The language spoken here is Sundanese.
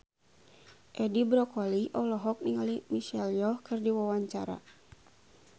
Edi Brokoli olohok ningali Michelle Yeoh keur diwawancara